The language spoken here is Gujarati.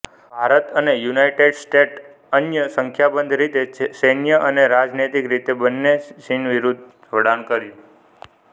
ભારત અને યુનાઇટેડ સ્ટેટ્સે અન્ય સંખ્યાબંધ રીતે સૈન્ય અને રાજનૈતિક રીતેબન્ને ચીન વિરુદ્ધ જોડાણ કર્યું